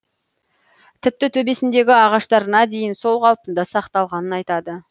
тіпті төбесіндегі ағаштарына дейін сол қалпында сақталғанын айтады